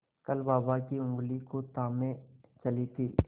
कल बाबा की ऊँगली को थामे चली थी